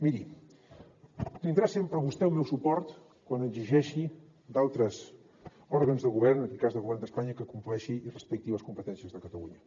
miri tindrà sempre vostè el meu suport quan exigeixi d’altres òrgans de govern en aquest cas del govern d’espanya que compleixin i respectin les competències de catalunya